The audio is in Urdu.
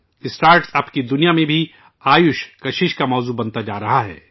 اسٹارٹ اپ کی دنیا میں بھی آیوش کشش کا موضوع بنتا جا رہا ہے